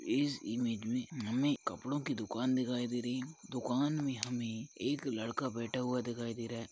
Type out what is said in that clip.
इस इमेज में हमें कपड़ों की दुकान दिखाई दे रही है दुकान में हमें एक लड़का बैठा हुआ दिखाई दे रहा है।